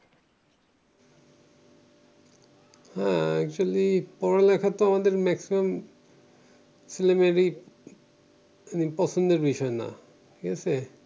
হ্যাঁ actually পড়ালেখাতো আমাদের maximum ছেলে মেয়ের পছন্দের বিষয় না ঠিকাছে